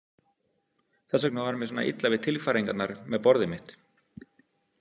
Þess vegna var mér svona illa við tilfæringarnar með borðið mitt.